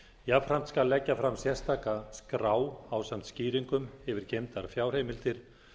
jafnframt skal leggja fram sérstaka skrá ásamt skýringum yfir geymdar fjárheimildir